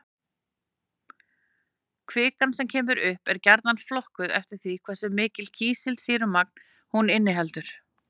Kvikan sem kemur upp er gjarnan flokkuð eftir því hversu mikið kísilsýrumagn hún inniheldur.